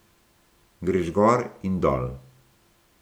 Greš gor in dol.